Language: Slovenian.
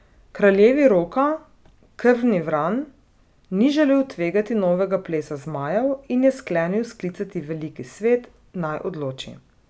Kraljevi Roka, Krvni vran, ni želel tvegati novega plesa zmajev, in je sklenil sklicati veliki svet, naj odloči.